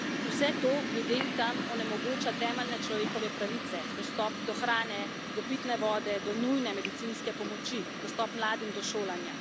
Vse to ljudem tam onemogoča temeljne človekove pravice, dostop do hrane, do pitne vode, do nujne medicinske pomoči, dostop mladim do šolanja.